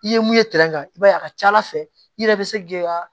I ye mun ye kan i b'a ye a ka ca ala fɛ i yɛrɛ be se k'i ka